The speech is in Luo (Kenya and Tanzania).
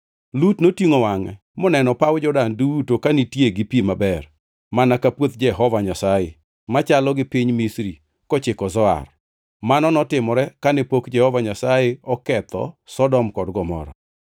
Lut notingʼo wangʼe moneno paw Jordan duto ka nitie gi pi maber mana ka puoth Jehova Nyasaye, machalo gi piny Misri kochiko Zoar. (Mano notimore kane pok Jehova Nyasaye oketho Sodom kod Gomora.)